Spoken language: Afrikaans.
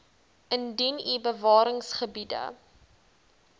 indien u bewaringsgebiede